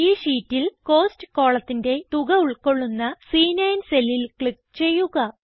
ഈ ഷീറ്റിൽ കോസ്റ്റ് കോളത്തിന്റെ തുക ഉൾകൊള്ളുന്ന സി9 സെല്ലിൽ ക്ലിക്ക് ചെയ്യുക